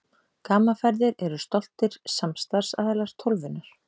Gaman Ferðir eru stoltir samstarfsaðilar Tólfunnar.